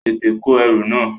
Tètè kó ẹrù náà!